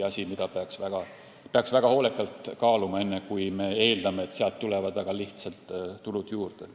Seda peaks väga hoolikalt kaaluma, enne kui oodata, et sealt tulevad väga lihtsalt tulud juurde.